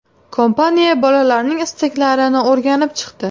Kompaniya bolalarning istaklarini o‘rganib chiqdi.